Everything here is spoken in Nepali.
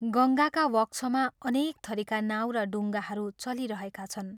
गङ्गाका वक्षमा अनेक थरीका नाउ र डुंगाहरू चलिरहेका छन्।